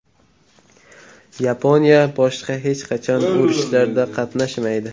Yaponiya boshqa hech qachon urushlarda qatnashmaydi.